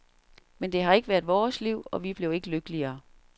Men det har ikke været vores liv, og vi blev ikke lykkeligere.